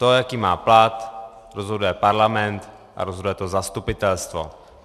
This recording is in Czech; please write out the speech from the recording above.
To, jaký má plat, rozhoduje parlament a rozhoduje to zastupitelstvo.